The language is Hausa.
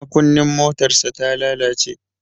Makunnin motarsa ta lalace.